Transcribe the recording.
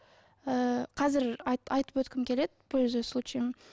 ы қазір айтып өткім келеді пользуясь случаем